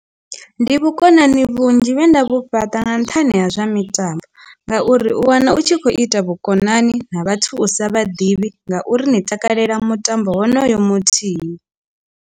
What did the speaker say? Ndi vhukonani vhunzhi vhe nda vhu fhaṱa nga nṱhani ha zwa mitambo ngauri u wana u tshi kho ita vhukonani na vhathu u sa vha ḓivhi ngauri ni takalela mutambo wonoyo muthihi.